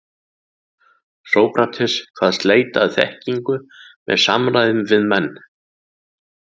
Sókrates kvaðst leita að þekkingu með samræðum við menn.